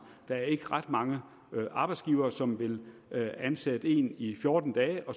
der er ikke ret mange arbejdsgivere som vil ansætte en i fjorten dage hvor